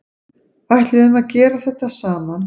Ætluðum að gera þetta saman